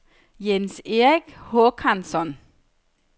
Jens-Erik Håkansson